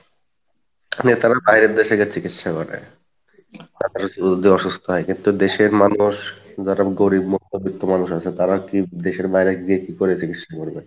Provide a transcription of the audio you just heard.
এবার কিন্তু দেশের মানুষ যারা গরীব মধ্যবৃত্ত মানুষ আসে তারা কি দেশের বাইরে গিয়ে কি করে চিকিৎসা করবে,